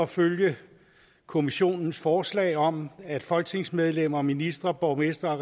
følge kommissionens forslag om at folketingsmedlemmer og ministre borgmestre